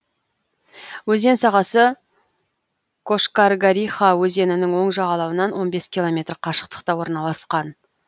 өзен сағасы кошкаргариха өзенінің оң жағалауынан он бес километр қашықтықта орналасқан